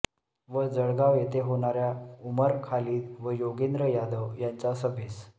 व जळगाव येथे होणाऱ्या उमर खालीद व योगेंद्र यादव यांच्या सभेस